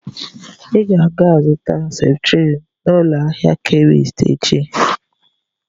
Ị ga aga-azụta Septrin n'ụlọ ahịa Kemist echi